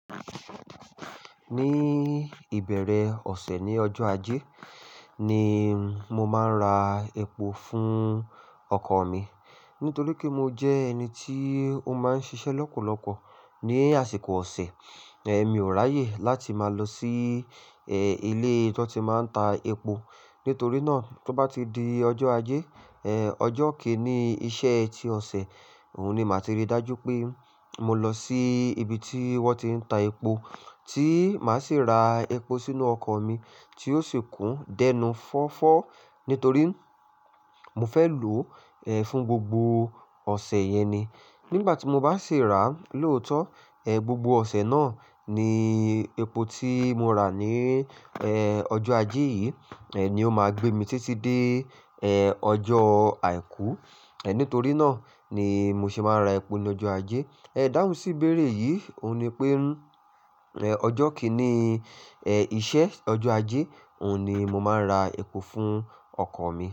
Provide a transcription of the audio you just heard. Ní ìbẹ̀rẹ̀ ọ̀sẹ̀ ní ọjọ́ ajé ni mo máa ń ra epo fún ọkọ̀ mi. Nítorí pé mo jẹ́ ẹni tí ó máa ń ṣiṣẹ́ lọ́pọ̀lọpọ̀ ní àsìkò ọ̀sẹ̀, ẹ mi ò ráyè láti máa lọ sí ẹ ilé tí wọ́n ti máa ń ta epo. Nítorí náà, to bá ti di ọjọ́ ajé, ọjọ́ kì í ní iṣẹ́ ẹ ti ọ̀sẹ̀, òun ni màá ti ri dájú pé mo lọ sí ibi tí wọ́n ti ń ta epo, tí màá sì ra epo sínú ọkọ̀ mi tí ó sì kún dẹnu fọ́fọ́. Nítorí mo fẹ́ lò fún gbogbo ọ̀sẹ̀ yẹn ni. Nígbà tí mo bá sì ra lóòtọ́, gbogbo ọ̀sẹ̀ náà ni epo tí mo ra ní ẹ ọjọ́ ajé yìí ni ó máa gbé mi títí dé ọjọ́ àìkú. Nítorí náà ni mo ṣe máa ń ra epo ní ọjọ́ ajé. Idáhùn sí ibèerè yìí, òun ni pé ọjọ́ kì í ní iṣẹ́, ọjọ́ ajé, òhun ni mo máa ń ra epo fún ọkọ̀ mi.